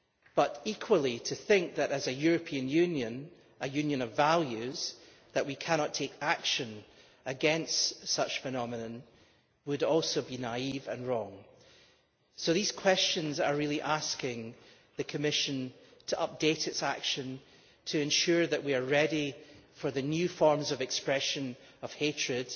But equally, to think that as a European Union, a union of values we cannot take action against such a phenomenon would be naive and wrong. So these questions are really asking the Commission to update its action to ensure that we are ready for the new forms of expression of hatred,